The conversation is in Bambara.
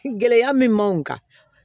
Gɛlɛya min m'anw kan